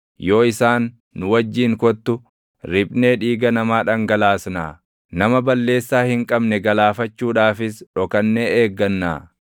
Yoo isaan, “Nu wajjin kottu; riphnee dhiiga namaa dhangalaasnaa; nama balleessaa hin qabne galaafachuudhaafis // dhokannee eeggannaa;